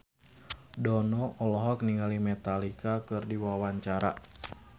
Dono olohok ningali Metallica keur diwawancara